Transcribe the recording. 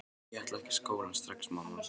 Ég ætla ekki í skólann strax, mamma!